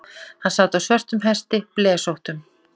Hann sat á svörtum hesti, blesóttum.